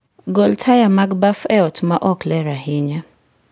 gol taya mag baf e ot ma ok ler ahinya